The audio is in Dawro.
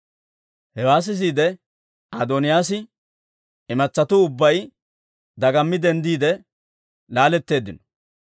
Hewaa sisiide, Adooniyaas imatsatuu ubbay dagammi denddiide, laaletteeddino.